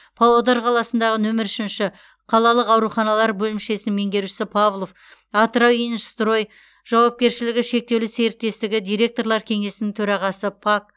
павлодар қаласындағы нөмір үшінші қалалық ауруханалар бөлімшесі меңгерушісі павлов атырауинжстрой жауапкершілігі шектеулі серіктестігі директорлар кеңесінің төрағасы пак